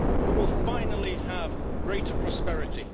We will finally have greater prosperity.